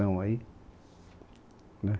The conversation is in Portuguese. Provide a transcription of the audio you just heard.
aí, né